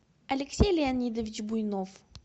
алексей леонидович буйнов